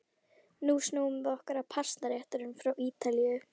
Nú snúum við okkur að pastaréttunum frá Ítalíu.